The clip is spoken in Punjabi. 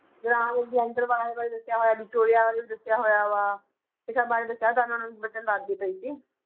ਅਲੈਗਜੈਂਡਰ ਬਾਰੇ ਬਾਰੇ ਦੱਸਿਆ ਹੋਇਆ, ਵਿਕਟੋਰੀਆ ਬਾਰੇ ਵੀ ਦੱਸਿਆ ਹੋਇਆ ਵਾ, ਇਹ ਸਭ ਬਾਰੇ ਦੱਸਿਆ, ਤਾਂ ਉਹਨਾਂ ਨੂੰ ਬੱਚਿਆਂ ਨੂੰ ਦੱਸਦੀ ਪਈ ਸੀ।